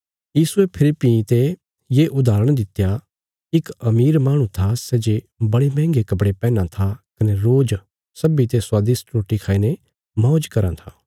यीशुये फेरी भीं ते ये उदाहरण दित्या इक अमीर माहणु था सै जे बड़े मंहगे कपड़े पैहनां था कने रोज सब्बीतें स्वादिष्ट रोटी खाईने मौज कराँ था